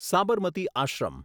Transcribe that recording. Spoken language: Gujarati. સાબરમતી આશ્રમ